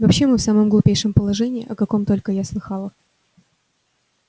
вообще мы в самом глупейшем положении о каком только я слыхала